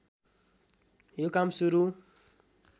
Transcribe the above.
यो काम सुरु